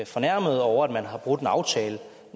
fornærmede over at man har brudt en aftale